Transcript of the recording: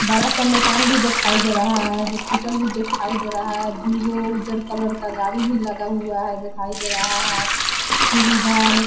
बड़ा-सा मकान भी दिखाई दे रहा है | हॉस्पिटल भी दिखाई दे रहा है। दू गो उज्जर कलर का गाड़ी भी लगा हुआ है दिखाई दे रहा हे। फिर इधर --